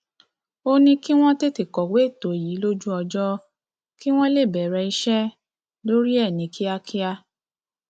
ó ní kí wọn tètè kọwé ètò yìí lójú ọjọ um kí wọn lè bẹrẹ iṣẹ um lórí ẹ ní kíákíá